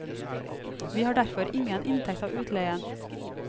Vi har derfor ingen inntekt av utleien.